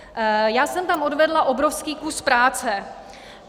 Já jsem tam odvedla obrovský kus práce.